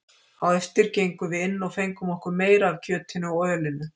Á eftir gengum við inn og fengum okkur meira af kjötinu og ölinu.